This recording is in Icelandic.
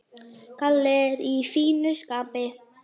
Kalli er í fínu skapi.